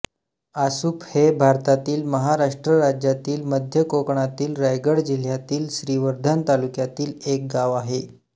आसुफ हे भारतातील महाराष्ट्र राज्यातील मध्य कोकणातील रायगड जिल्ह्यातील श्रीवर्धन तालुक्यातील एक गाव आहे